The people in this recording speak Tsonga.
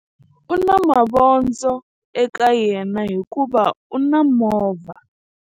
U na mavondzo eka yena hikuva u na movha.